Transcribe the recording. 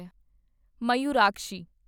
Mayurakshi